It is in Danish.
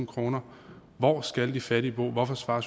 kroner hvor skal de fattige bo hvorfor svarer